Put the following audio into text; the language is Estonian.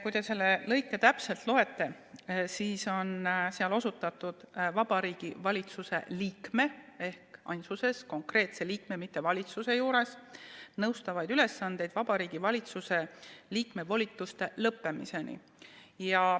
Kui te seda lõiget täpselt loete, siis seal on osutatud Vabariigi Valitsuse liikmele ehk ainsuses, konkreetsest liikmest, mitte valitsusest: nõustavaid ülesandeid Vabariigi Valitsuse liikme volituste lõppemiseni.